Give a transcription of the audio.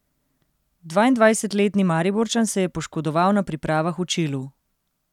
Dvaindvajsetletni Mariborčan se je poškodoval na pripravah v Čilu.